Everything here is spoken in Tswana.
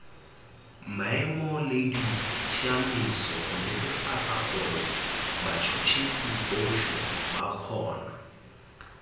maemoleditsamaiso gonetefatsagorebats huts hisibotlheba kgona